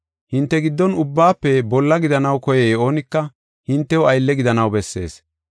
Hinte giddon ubbaafe bolla gidanaw koyiya oonika hintew aylle gidanaw bessees.